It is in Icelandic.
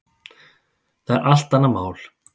Það er allt annað mál.